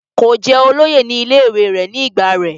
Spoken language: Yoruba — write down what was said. kò jẹ́ olóyè ní ilé ìwé rẹ̀ ní ìgbà rẹ̀